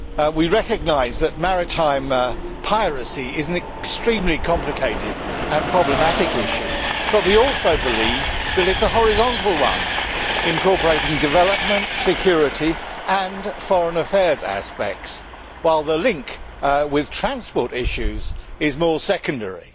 We recognise that maritime piracy is an extremely complicated and problematic issue, but we also believe that it is a horizontal one incorporating development, security and foreign affairs aspects, while the link with transport issues is more secondary.